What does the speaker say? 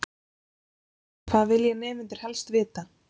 Erla: Hvað vilja nemendur helst vita?